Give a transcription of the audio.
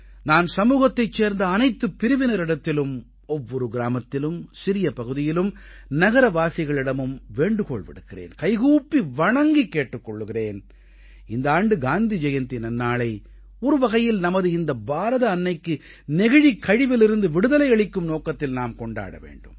நான் சமூகத்தைச் சேர்ந்த அனைத்துப் பிரிவினரிடத்திலும் ஒவ்வொரு கிராமத்திலும் சிறிய பகுதியிலும் நகரவாசிகளிடமும் வேண்டுகோள் விடுக்கிறேன் கைக்கூப்பி வணங்கிக் கேட்டுக் கொள்கிறேன் இந்த ஆண்டு காந்தி ஜெயந்தி நன்னாளை ஒரு வகையில் நமது இந்த பாரத அன்னைக்கு நெகிழிக் கழிவிலிருந்து விடுதலை அளிக்கும் நோக்கத்தில் நாம் கொண்டாட வேண்டும்